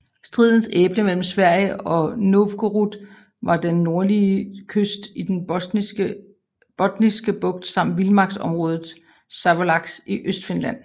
Stridens æble mellem Sverige og Novgorod var den nordlige kyst i den Botniske Bugt samt vildmarksområdet Savolax i Østfinland